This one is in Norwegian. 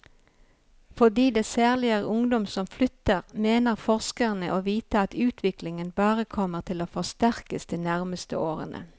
Fordi det særlig er ungdom som flytter, mener forskerne å vite at utviklingen bare kommer til å forsterkes de nærmeste årene.